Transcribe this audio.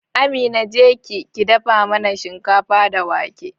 Amina, jeki ki dafa mana shinkafa da wake